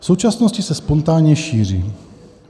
V současnosti se spontánně šíří.